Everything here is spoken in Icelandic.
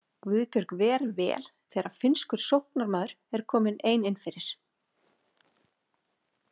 Guðbjörg ver vel þegar finnskur sóknarmaður er komin ein innfyrir.